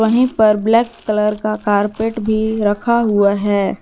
वहीं पर black colour का कार्पेट भी रखा हुआ है।